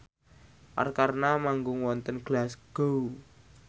Arkarna manggung wonten Glasgow